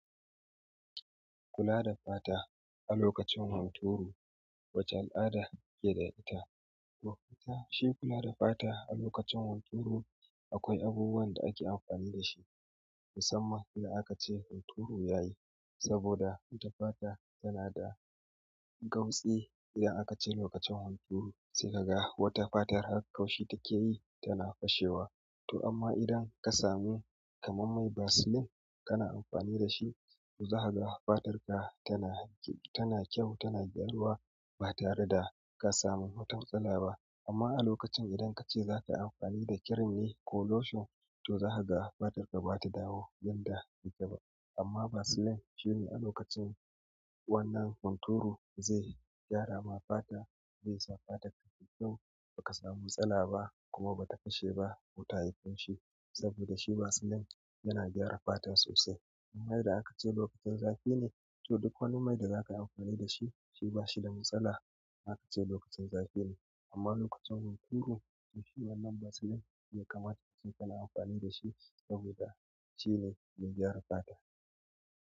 Kula da fata a lokacin hunturu wace al'ada keda ita to fatan shi kula da fata a lokacin hunturu akwai abubuwan da ake amfani dashi musamman idan aka ce hunturu yayi. Saboda ita fata tana da gautsi idan aka ce lokacin hunturu sai kaga wata fatar har kaushi take yi tana fashewa. Toh amma idan kasamu kamar vaseline kana amfani dashi to zakaga fatanka tana kyau tana gyaruwa ba tare da kasamu wata matsala ba amma a lokacin idan kace za kayi amfani da kirim ne ko lotion to zakaga fatarka bazata dawo yadda yake ba. Amma vaseline shine a lokacin wannan hunturu zai gyara ma fata zai sa fata tayi kyau baka samu matsala ba kuma ba ta fashe ba ko tayi kaushi saboda shi vaseline yana gyara fata sosai. Amma idan aka ce lokacin zafi ne to duk wani mai da zaka yi amfani dashi shi bashi da matsala in aka ce lokacin zafi ne. Amma lokacin hunturu to shi wannan vaseline yakamata ace kana amfani dashi saboda shine mai gyara fata.